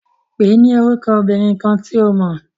Pèé ni orúkọ obìnrin kan to mọ̀.